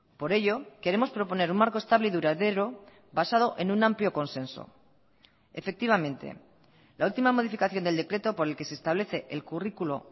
por ello queremos proponer un marco estable y duradero basado en un amplio consenso efectivamente la última modificación del decreto por el que se establece el currículo